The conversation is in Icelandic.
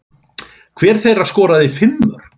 Hver þeirra skoraði fimm mörk.